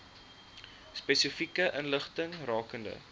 spesifieke inligting rakende